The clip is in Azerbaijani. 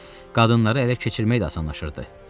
Hətta qadınları ələ keçirmək də asanlaşırdı.